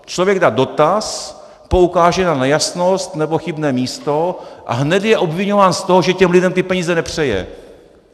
Člověk dá dotaz, poukáže na nejasnost nebo chybné místo a hned je obviňován z toho, že těm lidem ty peníze nepřeje.